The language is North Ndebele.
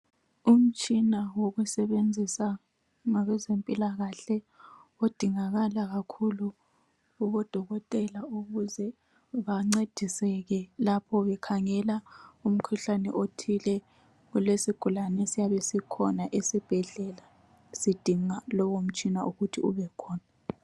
Umtshina wokusebenzisa kwabezempila kahle udingakala kakhulu kubodokotela ukuze bancediseke lapho bekhangela umkhuhlane othile olesigulane esiyabe sikhona esibhedlela sidinga lowo mtshina ukuthi ubekhona